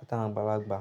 àti àwọn àgbàlagbà.